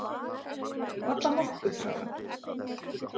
Varla nokkuð, sagði hann.